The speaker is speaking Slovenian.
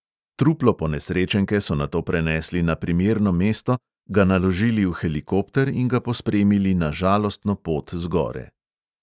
Truplo ponesrečenke so nato prenesli na primerno mesto, ga naložili v helikopter in ga pospremili na žalostno pot z gore.